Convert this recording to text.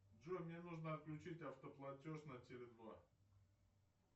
джой мне нужно отключить автоплатеж на теле два